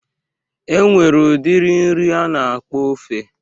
E nwere udiri nri a na-akpọ ofe